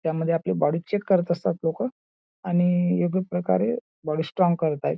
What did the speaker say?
यामध्ये आपली body check करत असतात लोकं आणि योग्य प्रकारे बॉडी स्ट्रॉंग करत आहेत.